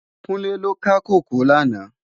Kunle lò ká kókòó làná